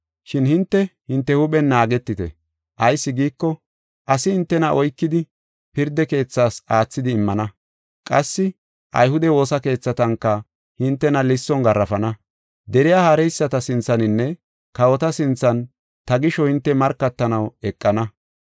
“Shin hinte, hinte huuphen naagetite. Ayis giiko, asi hintena oykidi, pirda keethas aathidi immana; qassi ayhude woosa keethatanka hintena lisson garaafana; deriya haareyisata sinthaninne kawota sinthan ta gisho hinte markatanaw eqana.